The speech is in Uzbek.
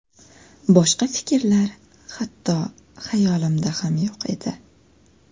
Boshqa fikrlar hatto xayolimda ham yo‘q edi.